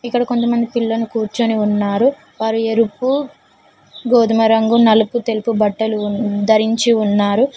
ఇక్కడ కొంత మంది పిల్లను కూర్చొని ఉన్నారు వారు ఎరుపు గోధుమ రంగు నలుపు తెలుపు బట్టలు వున్ ధరించి ఉన్నారు.